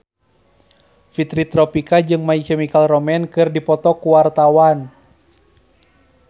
Fitri Tropika jeung My Chemical Romance keur dipoto ku wartawan